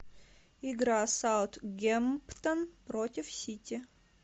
игра саутгемптон против сити